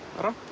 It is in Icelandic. rapp